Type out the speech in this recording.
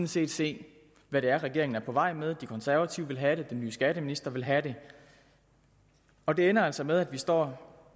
set se hvad det er regeringen er på vej med de konservative vil have det den nye skatteminister vil have det og det ender altså med at vi står